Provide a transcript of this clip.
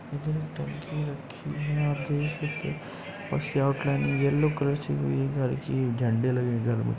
इतनी टंकी रक्खी हैं। यहाँ पे येल्लो कलर झण्डे लगे हैं घर में।